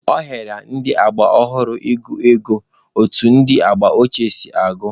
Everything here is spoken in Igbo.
Ọ hịara ndị agba ọhụrụ ị gụ ego otu ndị agba ochie si agụ.